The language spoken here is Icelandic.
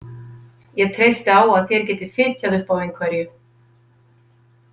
Ég treysti á að þér getið fitjað upp á einhverju.